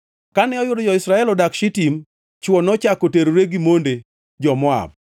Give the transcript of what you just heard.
Kane oyudo jo-Israel odak Shitim, chwo nochako terore gi monde jo-Moab,